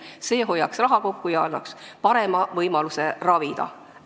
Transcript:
See hoiaks raha kokku ja annaks parema võimaluse ravida.